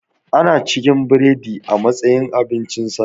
Ana cikin biredi a matsayin abincin safe